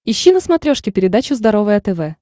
ищи на смотрешке передачу здоровое тв